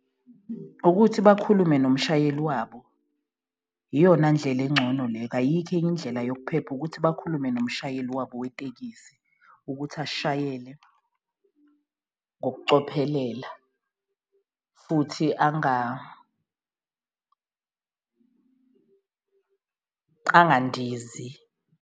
Ukuthi bakhulume nomshayeli wabo, iyona ndlela engcono leyo, ayikho enye indlela yokuphepha ukuthi bakhulume nomshayeli wabo wetekisi, ukuthi ashayele ngokucophelela futhi angandizi.